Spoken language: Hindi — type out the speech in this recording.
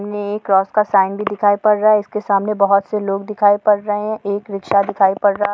सामने एक क्रोस का साईन भी दिखाई पड़ रहा है इसके सामने बहुत से लोग दिखाई पड़ रहें है एक रिक्शा दिखाई पड़ रहा है।